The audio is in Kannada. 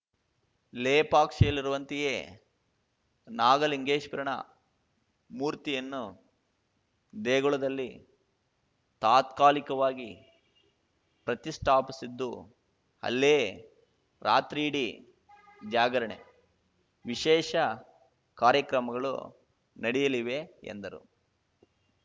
ಲೇಪಾಕ್ಷಿಯಲ್ಲಿರುವಂತೆಯೇ ನಾಗಲಿಂಗೇಶ್ವರನ ಮೂರ್ತಿಯನ್ನು ದೇಗುಲದಲ್ಲಿ ತಾತ್ಕಾಲಿಕವಾಗಿ ಪ್ರತಿಷ್ಠಾಪಿಸಿದ್ದು ಅಲ್ಲೇ ರಾತ್ರಿಯಿಡಿ ಜಾಗರಣೆ ವಿಶೇಷ ಕಾರ್ಯಕ್ರಮಗಳು ನಡೆಯಲಿವೆ ಎಂದರು